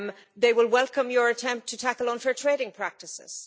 They will welcome your attempt to tackle unfair trading practices.